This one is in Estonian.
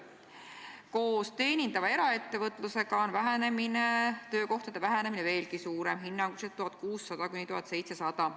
Koos teenindava eraettevõtluse andmetega on töökohtade arvu vähenemine veelgi suurem, hinnanguliselt 1600 kuni 1700.